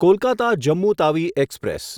Kolkata Jammu Tawi express